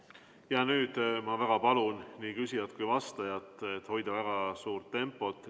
Nüüd ma väga palun nii küsijal kui ka vastajal hoida väga kiiret tempot.